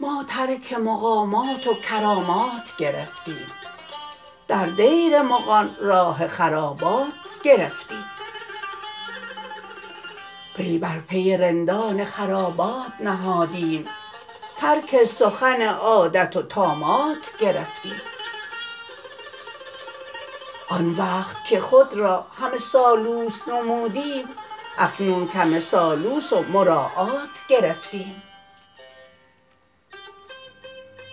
ما ترک مقامات و کرامات گرفتیم در دیر مغان راه خرابات گرفتیم پی بر پی رندان خرابات نهادم ترک سخن عادت و طامات گرفتیم آن وقت که خود را همه سالوس نمودیم اکنون کم سالوس و مراعات گرفتیم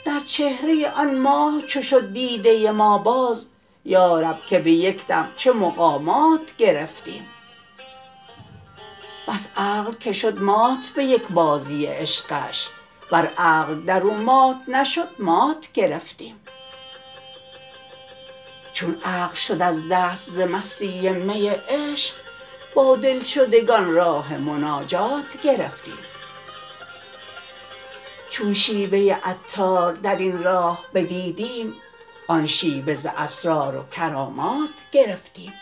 در چهره آن ماه چو شد دیده ما باز یارب که به یک دم چه مقامات گرفتیم بس عقل که شد مات به یک بازی عشقش ور عقل درو مات نشد مات گرفتیم چون عقل شد از دست ز مستی می عشق با دلشدگان راه مناجات گرفتیم چون شیوه عطار درین راه بدیدیم آن شیوه ز اسرار و کرامات گرفتیم